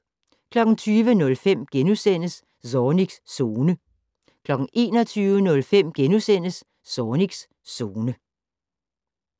20:05: Zornigs Zone * 21:05: Zornigs Zone *